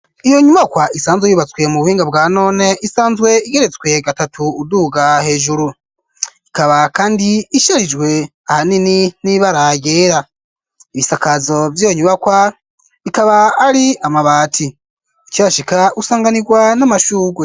Iyo nyubajwa isanzwe yubatswe mu buhinga bwa none, isanzwe igeretswe gatatu uduuga hejuru, ikaba kandi isharijwe ahanini n'ibara ryera, ibisakazo vy'iyo nyubakwa ikaba ari amabati, ukihashika usanganirwa n'amashurwe.